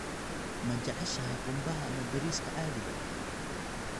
Ma jeceshahay qumbaha ama bariiska caadiga ah?